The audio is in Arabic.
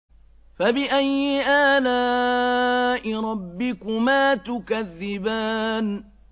فَبِأَيِّ آلَاءِ رَبِّكُمَا تُكَذِّبَانِ